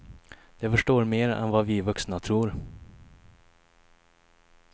De förstår mer än vad vi vuxna tror.